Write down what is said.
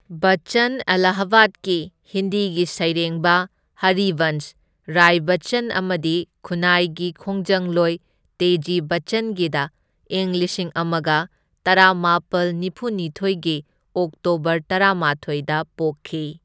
ꯕꯆꯆꯟ ꯑꯂꯥꯍꯥꯕꯥꯗꯀꯤ ꯍꯤꯟꯗꯤꯒꯤ ꯁꯩꯔꯦꯡꯕ ꯍꯔꯤꯕꯟꯁ ꯔꯥꯏ ꯕꯆꯆꯟ ꯑꯃꯗꯤ ꯈꯨꯟꯅꯥꯏꯒꯤ ꯈꯣꯡꯖꯪꯂꯣꯏ ꯇꯦꯖꯤ ꯕꯆꯆꯟꯒꯤꯗ ꯏꯪ ꯂꯤꯁꯤꯡ ꯑꯃꯒ ꯇꯔꯥꯃꯥꯄꯜ ꯅꯤꯐꯨꯅꯤꯊꯣꯢꯒꯤ ꯑꯣꯛꯇꯣꯕꯔ ꯇꯔꯥꯃꯥꯊꯣꯢꯗ ꯄꯣꯛꯈꯤ꯫